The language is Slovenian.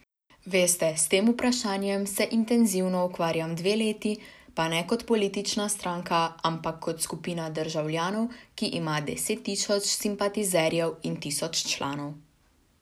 Veste, s tem vprašanjem se intenzivno ukvarjam dve leti, pa ne kot politična stranka, ampak kot skupina državljanov, ki ima deset tisoč simpatizerjev in tisoč članov.